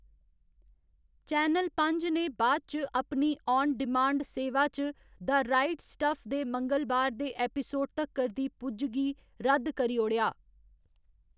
Channel पंज्ज ने बाद च अपनी आन डिमांड सेवा चा द राइट स्टफ दे मंगलबार दे एपिसोड तक्कर दी पुज्ज गी रद्द करी ओड़ेआ।